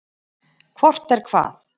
Hvort er hvað?